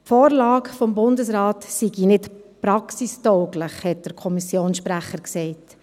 Die Vorlage des Bundesrates sei nicht praxistauglich, hat der Kommissionssprecher gesagt.